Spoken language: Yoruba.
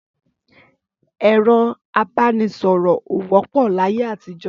Ẹrọ àbánisọrọ ò wòpó làyé àtijọ